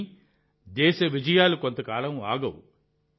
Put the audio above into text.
కానీ దేశ విజయాలు కొంతకాలం ఆగవు